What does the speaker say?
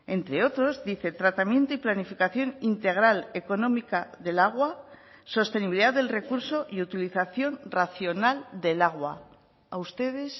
entre otros dice tratamiento y planificación integral económica del agua sostenibilidad del recurso y utilización racional del agua a ustedes